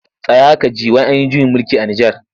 Tsaya ka ji! wai an yi juyin mulki a Nijar.